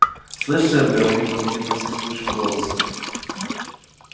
слышишь ир говорит он каким-то скрипучим голосом